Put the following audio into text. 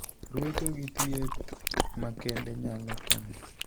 Ruecho gi thieth makende nyalo konyo.